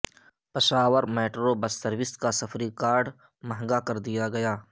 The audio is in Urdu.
پشاور میٹرو بس سروس کا سفری کارڈ مہنگا کردیا گیا